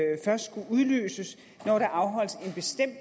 jo først skulle udløses når der afholdes